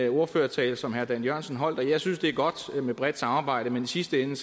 ordførertale som herre dan jørgensen holdt at jeg synes det er godt med bredt samarbejde men i sidste ende